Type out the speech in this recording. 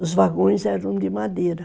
Os vagões eram de madeira.